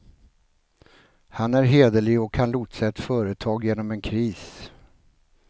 Han är hederlig och kan lotsa ett företag genom en kris.